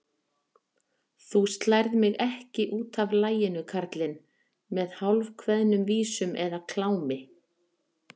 Þú slærð mig ekki útaf laginu, kallinn, með hálfkveðnum vísum eða klámi.